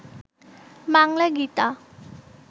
Bangla Gita